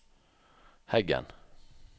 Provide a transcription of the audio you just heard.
Heggen